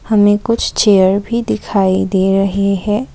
हमें कुछ चेयर भी दिखाई दे रहे है।